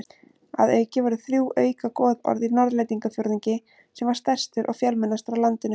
Að auki voru þrjú auka goðorð í Norðlendingafjórðungi sem var stærstur og fjölmennastur á landinu.